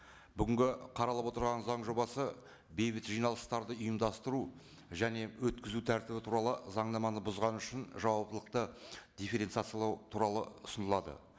бүгінгі қаралып отырған заң жобасы бейбіт жиналыстарды ұйымдастыру және өткізу тәртібі туралы заңнаманы бұзғаны үшін жауаптылықты дифференциациялау туралы ұсынылады